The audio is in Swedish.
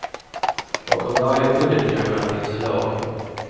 Bakom varje budgetkrona finns en lag.